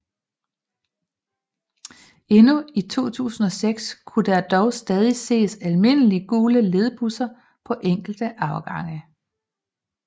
Endnu i 2006 kunne der dog stadig ses almindelige gule ledbusser på enkelte afgange